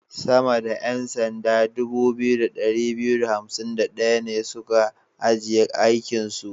Sama da 'yan sanda 2251 ne su ka ajiye aikinsu.